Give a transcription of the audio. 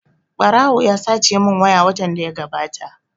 Ɓarawo ya sace mun waya watan da ya gabata